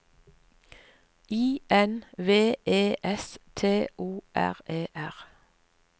I N V E S T O R E R